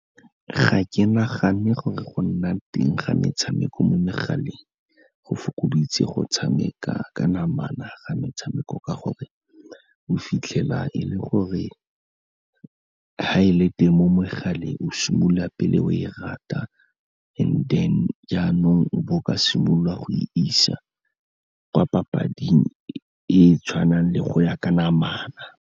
Ga ke nagane gore go nna teng ga metshameko mo megaleng, go fokoditse go tshameka ka namana ga metshameko ka gore o fitlhela e le gore ga e le teng mo megaleng o simolola pele o e rata, and then jaanong o bo o ka simololwa go e isa kwa papading e e tshwanang le go ya ka namana.